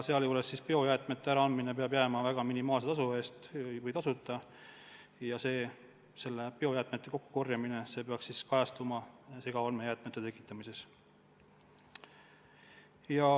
Sealjuures peab biojäätmete äraandmine olema minimaalse tasu eest või tasuta ja biojäätmete kokkukorjamine peaks kajastuma ka aruannetes segaolmejäätmete tekitamise kohta.